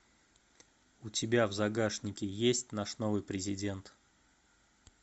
у тебя в загашнике есть наш новый президент